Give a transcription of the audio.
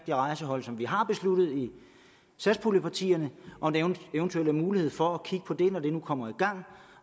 det rejsehold som vi har besluttet i satspuljepartierne og en eventuel mulighed for at kigge på det når det nu kommer i gang